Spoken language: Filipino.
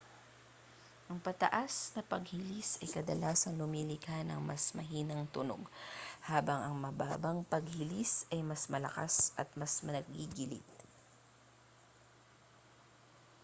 ang pataas-na-panghilis ay kadalasang lumilikha ng mas mahinang tunog habang ang pababang-panghilis ay mas malakas at mas naggigiit